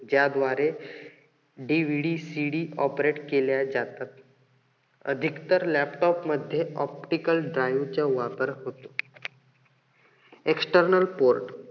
ज्याद्वारे DVD CD operate केल्या जातात. अधिकतर laptop मध्ये optical drive चा वापर होतो. external port